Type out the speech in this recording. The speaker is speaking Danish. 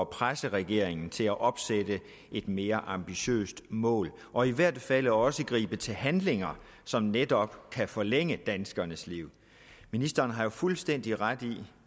presse regeringen til at opstille et mere ambitiøst mål og i hvert tilfælde også gribe til handling som netop kan forlænge danskernes liv ministeren har jo fuldstændig ret i